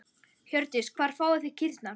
Hjördís: Hvar fáið þið kýrnar?